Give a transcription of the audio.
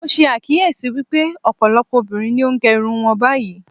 Mo ṣe àkíyèsí wípé ọ̀pọ̀lọpọ̀ obìnrin ni ó gẹ irun wọn báyìí.